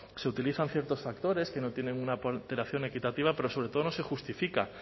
se utilizan ciertos factores que no tienen una alteración equitativa pero sobre todo no se justifican